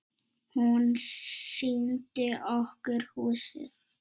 Hún sýndi okkur húsið.